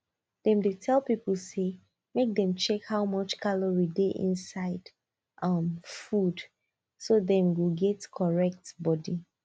dem dey tell people say make dem check how much calorie dey inside um food so dem go get correct body